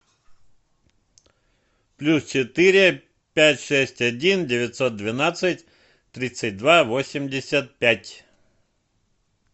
плюс четыре пять шесть один девятьсот двенадцать тридцать два восемьдесят пять